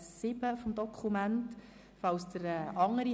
Falls Ihnen andere Dokumente vorliegen: